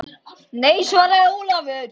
Nei, svaraði Ólafur.